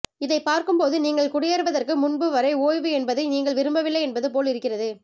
இதை பார்க்கும்போது நீங்கள் குடியேறுவதற்கு முன்பு வரை ஓய்வு என்பதை நீங்கள் விரும்பவில்லை என்பது போல் இருக்கிறது